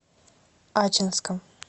ачинском